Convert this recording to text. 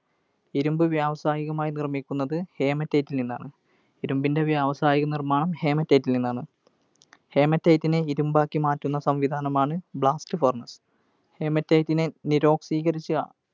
ഇരുമ്പ് വ്യാവസായികമായി നിർമിക്കുന്നത് Haematite ൽ നിന്നാണ്. ഇരുമ്പിൻറെ വ്യാവസായിക നിർമാണം Haematite ൽ നിന്നാണ്. Haematite നെ ഇരുമ്പാക്കി മാറ്റുന്ന സംവിധാനമാണ് Blast furnace. Haematite നെ നിരോക്സീകരിച്ചു